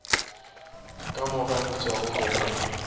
ka mo ganetšago go ka